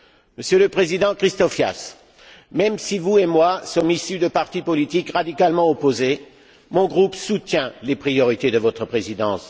Monsieur le Président Christofias, même si vous et moi sommes issus de partis politiques radicalement opposés, mon groupe soutient les priorités de votre présidence.